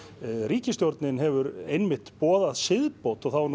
ríkisstjórnin hefur einmitt boðað siðbót og þá er